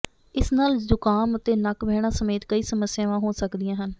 ਇਸ ਨਾਲ ਜ਼ੁਕਾਮ ਅਤੇ ਨੱਕ ਵਹਿਣਾ ਸਮੇਤ ਕਈ ਸਮੱਸਿਆਵਾਂ ਹੋ ਸਕਦੀਆਂ ਹਨ